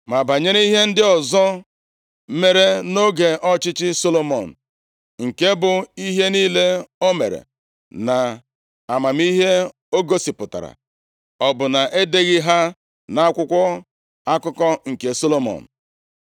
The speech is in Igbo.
Ma banyere ihe ndị ọzọ mere nʼoge ọchịchị Solomọn, nke bụ, ihe niile o mere na amamihe o gosipụtara, ọ bụ na-edeghị ha nʼakwụkwọ akụkọ nke Solomọn?